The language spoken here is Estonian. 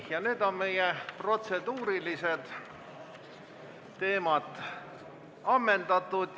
Nüüd on protseduurilised arutelud ammendatud.